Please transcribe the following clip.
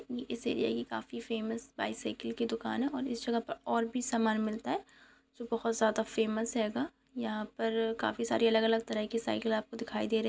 Cycle की दुकान दिखाई दे रही है वहां पर बहुत साड़ी साइकिल हैं छोटी साइकिल हैं बड़ी साइकिल हैं सामने कार खड़ी हैं लोग खड़े हैं।